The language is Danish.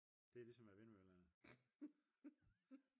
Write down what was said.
det er ligesom med vindmøllerne